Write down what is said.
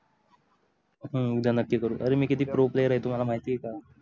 हु उद्या नक्की करू अरे मी किती proplayer आहे तुम्हाला माहिती आहे का